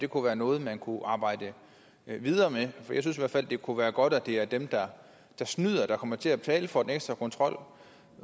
kunne være noget man kunne arbejde videre med for jeg synes i hvert fald det kunne være godt at det er dem der snyder der kommer til at betale for den ekstra kontrol